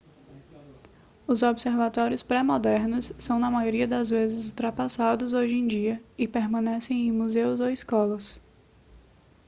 os observatórios pré-modernos são na maioria das vezes ultrapassados hoje em dia e permanecem em museus ou escolas